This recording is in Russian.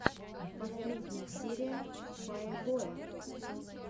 последняя серия фае боя